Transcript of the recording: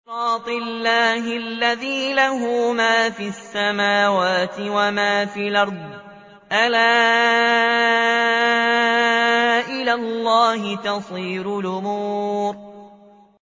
صِرَاطِ اللَّهِ الَّذِي لَهُ مَا فِي السَّمَاوَاتِ وَمَا فِي الْأَرْضِ ۗ أَلَا إِلَى اللَّهِ تَصِيرُ الْأُمُورُ